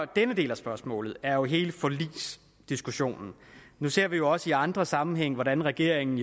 denne del af spørgsmålet er jo hele forligsdiskussionen nu ser vi også i andre sammenhænge hvordan regeringen